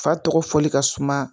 Fa tɔgɔ fɔli ka suma